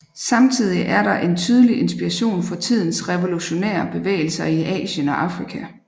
Samtidig er der en tydelig inspiration fra tidens revolutionære bevægelser i Asien og Afrika